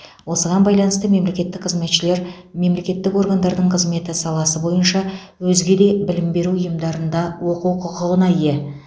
осыған байланысты мемлекеттік қызметшілер мемлекеттік органдардың қызметі саласы бойынша өзге де білім беру ұйымдарында оқу құқығына ие